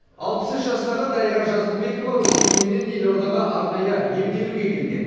алпыс үш жастағы дариға жазылбекова өскеменнен елордаға арнайы емделуге келген